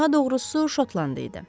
Daha doğrusu şotland idi.